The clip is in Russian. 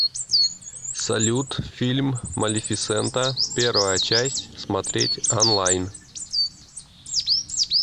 салют фильм малефисента первая часть смотреть онлайн